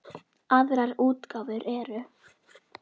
Aðrar útgáfur eru